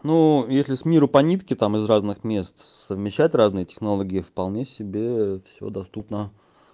ну если с миру по нитке там из разных мест совмещать разные технологии вполне себе всё доступно